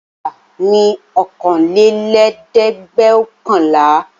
Òǹkà ni ọ̀kanlélẹ́ẹ̀dẹ́gbẹ́ọ̀kànlá.